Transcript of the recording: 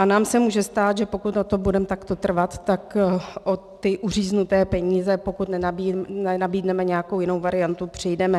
A nám se může stát, že pokud na tom budeme takto trvat, tak o ty uříznuté peníze, pokud nenabídneme nějakou jinou variantu, přijdeme.